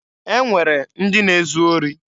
E nwere ndị na-ezu ori.